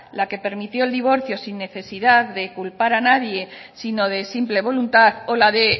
la que permitió el divorcio sin necesidad de culpar a nadie sino de simple voluntad o la de